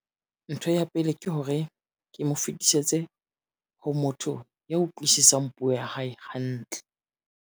Ntho ya pele ke hore, ke mo fetisetse ho motho ya utlwisiseng puo ya hae hantle.